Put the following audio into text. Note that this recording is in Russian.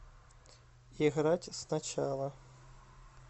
играть сначала